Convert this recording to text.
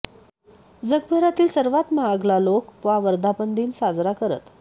जगभरातील सर्वात महाग मला लोक वा वर्धापनदिन साजरा करत